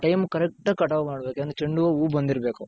ಆ time ಗೆ correct ಆಗಿ ಆಗ್ ಮಾಡ್ ಬೇಕು ಏನು ಚೆoಡು ಹೂವ್ವ ಹೂ ಬಂದಿರಬೇಕು.